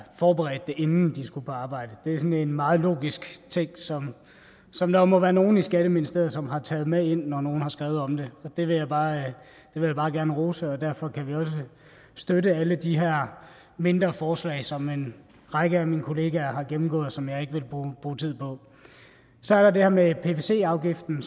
forberedt det inden de skulle arbejde det er sådan en meget logisk ting som som der må være nogle i skatteministeriet som har taget med ind når nogle har skrevet om det det vil jeg bare gerne rose og derfor kan vi også støtte alle de her mindre forslag som en række af mine kollegaer har gennemgået og som jeg ikke vil bruge tid på så er der det her med pvc afgiften